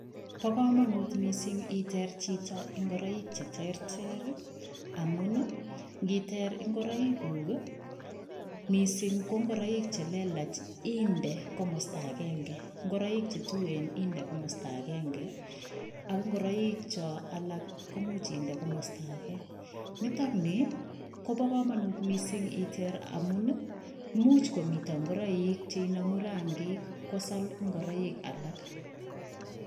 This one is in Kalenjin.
Bokomonut mising itindoi chito ing'oroik cheterter amun ingiter ing'oroikuk ii, mising ko ing'oroik chelelach indee komosto akeng'e, ing'oroik chetuen inde komosto akeng'e, ak ing'oroik chon alak koimuch inde komosto akee, nitok nii kobokomonut mising iteer amun imuch komii ing'oroik chenemu rangik kosal ing'oroik alak.